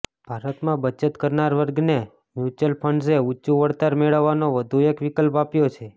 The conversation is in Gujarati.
ભારતમાં બચત કરનાર વર્ગને મ્યુચ્યુઅલ ફંડ્સે ઊંચું વળતર મેળવવાનો વધુ એક વિકલ્પ આપ્યો છે